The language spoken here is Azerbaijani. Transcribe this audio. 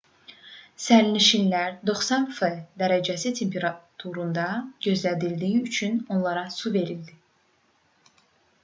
sərnişinlər 90 f dərəcə temperaturda gözlədiyi üçün onlara su verildi